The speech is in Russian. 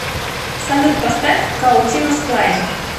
салют поставь каутинос клай